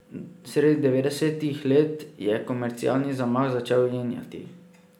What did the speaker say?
Sredi devetdesetih let je komercialni zamah začel jenjati.